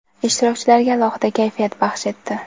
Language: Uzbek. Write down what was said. ishtirokchilarga alohida kayfiyat baxsh etdi.